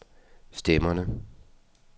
stemmerne